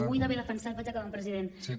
orgull d’haver defensat vaig acabant president